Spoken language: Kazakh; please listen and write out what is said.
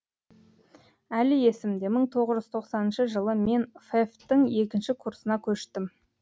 әлі есімде мың тоғыз жүз тоқсаныншы жылы мен фэф тің екінші курсына көштім